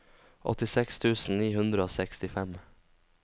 åttiseks tusen ni hundre og sekstifem